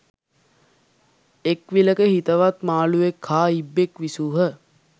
එක් විලක හිතවත් මාළුවෙක් හා ඉබ්බෙක් විසූහ.